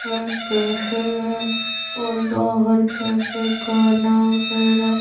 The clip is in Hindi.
एक कैफे है और बाहर कैफे का नाम मेरा--